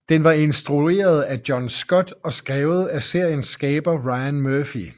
Den var instrueret af John Scott og skrevet af seriens skaber Ryan Murphy